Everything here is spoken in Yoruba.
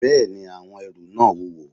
Bẹ́ẹ̀ni, àwọn ẹrù náà wúwo